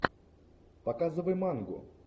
показывай мангу